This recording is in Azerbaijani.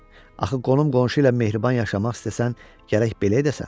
Axı qonum-qonşu ilə mehriban yaşamaq istəsən, gərək belə edəsən.